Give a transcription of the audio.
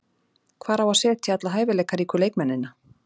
Hvar á að setja alla hæfileikaríku leikmennina?